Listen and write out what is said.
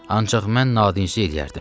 Ancaq mən nadinc eləyərdim.